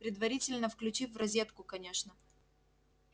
предварительно включив в розетку конечно